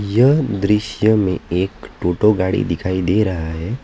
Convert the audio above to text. यह दृश्य में एक टोटो गाड़ी दिखाई दे रहा है।